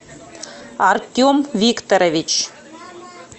артем викторович